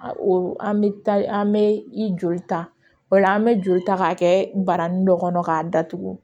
An bɛ an bɛ i joli ta o la an bɛ joli ta k'a kɛ baranin dɔ kɔnɔ k'a datugu